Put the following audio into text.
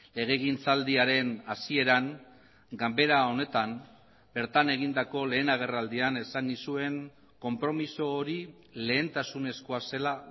legegintzaldiaren hasieran ganbera honetan bertan egindako lehen agerraldian esan nizuen konpromiso hori lehentasunezkoa zela